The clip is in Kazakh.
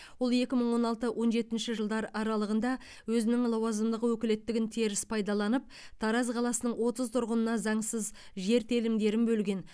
ол екі мың он алты он жетінші жылдар аралығында өзінің лауазымдық өкілеттігін теріс пайдаланып тараз қаласының отыз тұрғынына заңсыз жер телімдерін бөлген